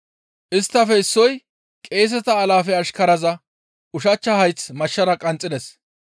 Isttafe issoy qeeseta alaafe ashkaraza ushachcha hayth mashshara qanxxides.